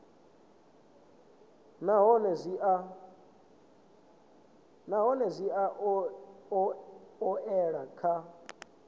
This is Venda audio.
nahone zwi a oea kha